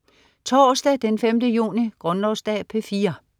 Torsdag den 5. juni - Grundlovsdag - P4: